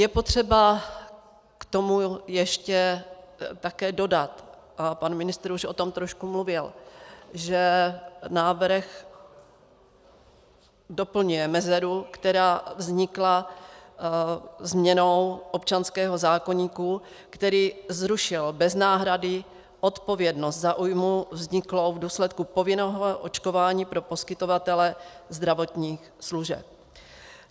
Je potřeba k tomu ještě také dodat, a pan ministr už o tom trošku mluvil, že návrh doplňuje mezeru, která vznikla změnou občanského zákoníku, který zrušil bez náhrady odpovědnost za újmu vzniklou v důsledku povinného očkování pro poskytovatele zdravotních služeb.